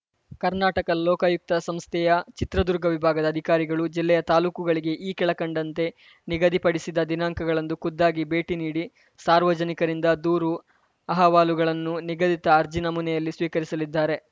ಕರ್ನಾಟಕ ಲೋಕಾಯುಕ್ತ ಸಂಸ್ಥೆಯ ಚಿತ್ರದುರ್ಗ ವಿಭಾಗದ ಅಧಿಕಾರಿಗಳು ಜಿಲ್ಲೆಯ ತಾಲೂಕುಗಳಿಗೆ ಈ ಕೆಳಕಂಡಂತೆ ನಿಗದಿಪಡಿಸಿದ ದಿನಾಂಕಗಳಂದು ಖುದ್ದಾಗಿ ಭೇಟಿ ನೀಡಿ ಸಾರ್ವಜನಿಕರಿಂದ ದೂರು ಅಹವಾಲುಗಳನ್ನು ನಿಗದಿತ ಅರ್ಜಿ ನಮೂನೆಯಲ್ಲಿ ಸ್ವೀಕರಿಸಲಿದ್ದಾರೆ